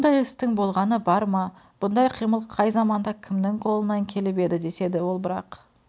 бұндай істің болғаны бар ма бұндай қимыл қай заманда кімнің қолынан келіп еді деседі ол бірак